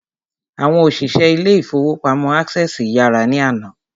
Àwọn òṣìṣẹ́ ilé ìfọwọ́pamo Access yàrá ní àná.